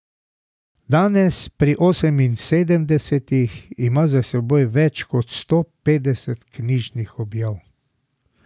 Danes, pri oseminsedemdesetih, ima za seboj več kot sto petdeset knjižnih objav.